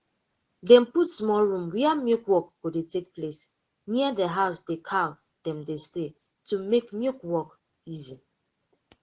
dem put small room were milk work go dey take place near de house de cow dem dey stay to make milk work easy